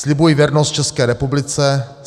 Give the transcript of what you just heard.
"Slibuji věrnost České republice.